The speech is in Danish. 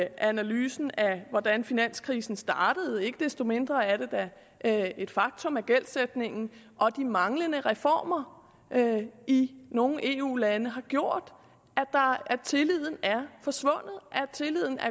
analysen af hvordan finanskrisen startede ikke desto mindre er det da et faktum at gældsætningen og de manglende reformer i nogle eu lande har gjort at tilliden er forsvundet at tilliden er